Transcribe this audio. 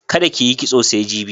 Kada ki yi kitso sai jibi.